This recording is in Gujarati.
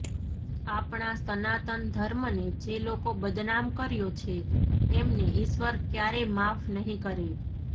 આપણા સનાતન ધર્મને જે લોકો બદનામ કર્યો છે એમને ઇશ્વર ક્યારેય માફ નહીં કરે